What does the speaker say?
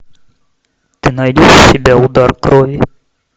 ты найдешь у себя удар крови